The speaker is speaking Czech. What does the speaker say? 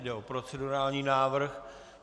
Jde o procedurální návrh.